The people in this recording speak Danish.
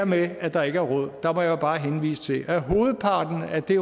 med at der ikke er råd må jeg bare henvise til at hovedparten af det